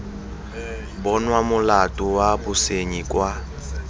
bonwa molato wa bosenyi kwa